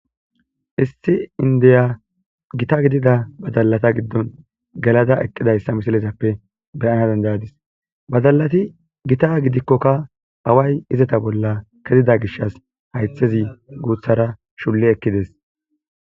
Issi indiya gita gidida badalata giddoni gelada eqidayisa misilezappe beanawu danidadisi badalatikka gita gidikkokaawayi izeta bola kezida gishasi hayithezi guththara shuli ekidessi